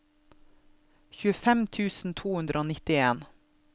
tjuefem tusen to hundre og nitten